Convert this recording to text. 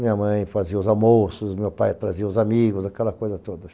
Minha mãe fazia os almoços, meu pai trazia os amigos, aquela coisa toda.